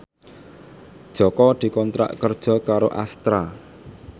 Jaka dikontrak kerja karo Astra